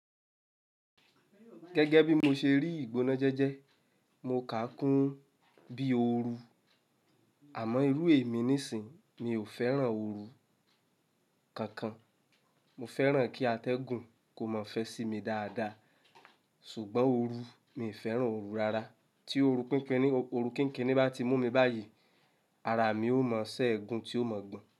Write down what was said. Gẹ́gẹ́ bí mo ṣe rí ìgbóná jẹ́jẹ́, mo kà á kún bí òoru. Àmọ́ irú èmi nísinyi mi ò fẹ́ràn òoru kankan. Mo fẹ́ràn kí atẹ́gùn kò mọ̀ fẹ́ sí mi dáadáa, ṣùgbọ́n òoru, mi n fẹ́ràn òoru rárá. Tí òoru kínkínni bá ti mú mi báyìí, ara mi ó mọ́ ṣẹ́ègún tí ò mọ̀ gbọ́n.